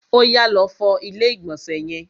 Oyà, lọ fọ ilé ìgbọ̀nsẹ̀ yẹn!